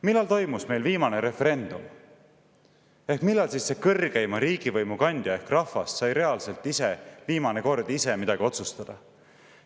Millal toimus meil viimane referendum ehk millal see kõrgeima riigivõimu kandja ehk rahvas sai reaalselt ise viimane kord midagi otsustada?